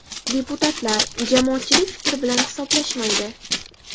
Deputatlar, jamoatchilik fikri bilan hisoblashmaydi.